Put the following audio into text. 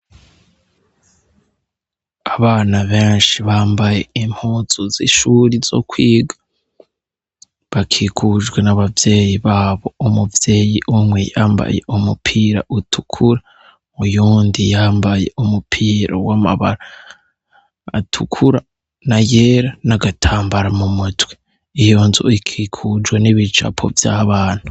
Abana benshi bambaye impuzu zishure zokwiga bakikujwe nabavyeyi babo umuvyeyi umwe yambaye umupira utukura uwundi yambaye umupira wamabara atukura nayera nagatambara mumutwe iyonzu ikikujwe nibicapo vyabana